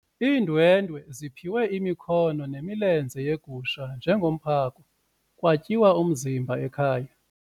Iindwendwe ziphiwe imikhono nemilenze yegusha njengomphako kwatyiwa umzimba ekhaya.